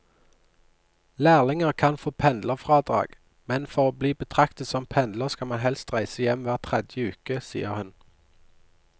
Lærlinger kan få pendlerfradrag, men for å bli betraktet som pendler skal man helst reise hjem hver tredje uke, sier hun.